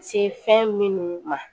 Se fɛn minnu ma